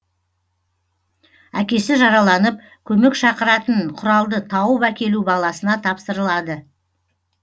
әкесі жараланып көмек шақыратын құралды тауып әкелу баласына тапсырылады